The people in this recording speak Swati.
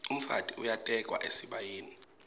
umfati uyatekwa esibayeni